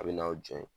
A bɛ n'aw jɔ yen